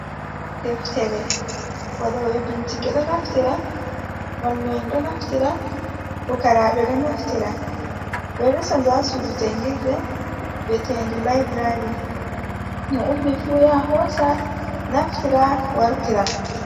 Deftere waɗobe binchike ɗo naftira mallu’en ɗo naftira, fukaraɓe ɗo naftira, ɓeɗo resa ndu ha sudu jangirde vietedu library, mo ummi fu ya hosa naftira wartira.